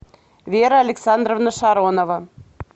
вера александровна шаронова